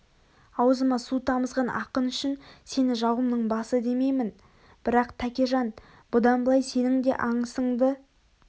аузыма су тамызған ақың үшін сені жауымның басы демеймін бірақ тәкежан бұдан былай сенің де аңысыңды